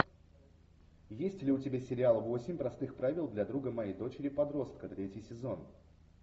есть ли у тебя сериал восемь простых правил для друга моей дочери подростка третий сезон